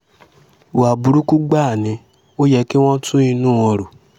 ìwà burúkú gbáà ni ò yẹ kí wọ́n tún inú wọn rò